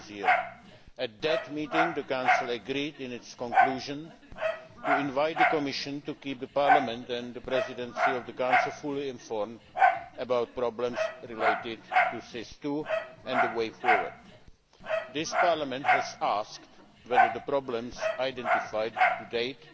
2009. At that meeting, the Council agreed in its conclusion to invite the Commission to keep Parliament and the Presidency of the Council fully informed about problems related to SIS II and the way forward. This Parliament has asked whether the problems identified to date